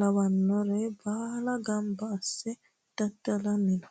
lawanore baalla gamba asse daddalanni no.